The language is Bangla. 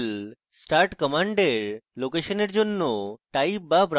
mysql start command এর লোকেশনের জন্য type বা browse করুন